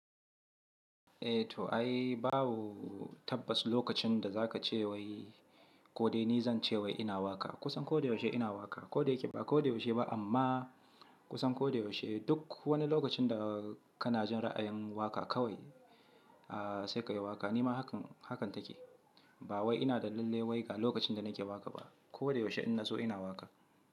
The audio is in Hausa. Eh to ai babu tabbas lokacin da za ka ce wai ko dai ni zan ce wai ina waƙa. Kusan ko da yaushe ina waƙa ko da yake ba ko da yaushe ba amma kusan ko da yaushe duk wani lokacin da kana jin ra'ayin waƙa kawai sai ka yi waƙa. Ni ma haka take. Ba wai ina da lallai waiga lokacin da nake waƙa ba. Ko da yaushe idan na zso ina waƙa.